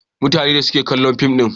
Mutanen da suke kallon fim din.